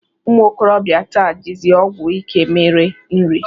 Ụmụ okorobịa taa jizi ọgwụ ike mere nri